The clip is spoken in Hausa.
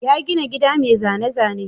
Ya gina gida mai zane-zane.